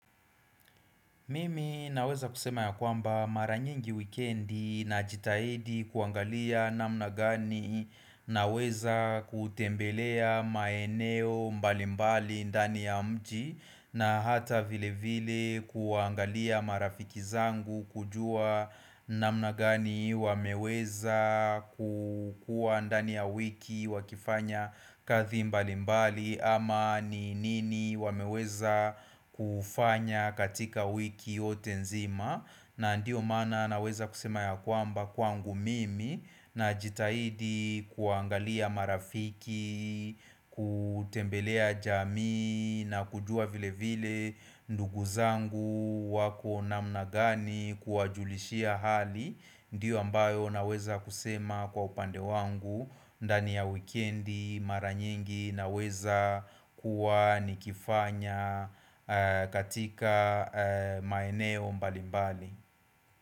Mimi naweza kusema ya kwamba mara nyingi weekendi najitahidi kuangalia namna gani naweza kutembelea maeneo mbalimbali ndani ya mji na hata vilevile kuangalia marafiki zangu kujua namna gani wameweza kukua ndani ya wiki wakifanya kazi mbali mbali ama ni nini wameweza kufanya katika wiki yote nzima na ndio mana naweza kusema ya kwamba kwangu mimi Najitahidi kuangalia marafiki, kutembelea jamii na kujua vilevile ndugu zangu wako namna gani kuwajulishia hali Ndiyo ambayo naweza kusema kwa upande wangu, ndani ya wikendi, mara nyingi naweza kuwa nikifanya katika maeneo mbalimbali.